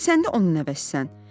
Axı sən də onun nəvəsisən.